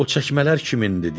O çəkmələr kimindir?